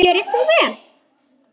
Gjörið svo vel!